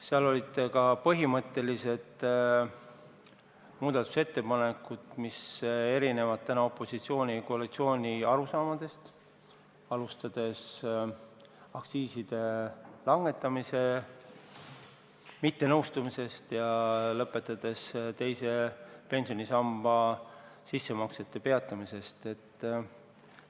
Seal olid ka põhimõttelised muudatusettepanekud, mille sisu tuleneb opositsiooni ja koalitsiooni erinevatest arusaamadest, alustades aktsiiside langetamisega mittenõustumisest ja lõpetades teise pensionisamba sissemaksete peatamise teemaga.